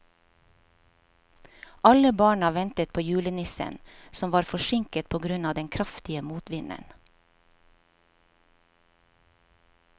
Alle barna ventet på julenissen, som var forsinket på grunn av den kraftige motvinden.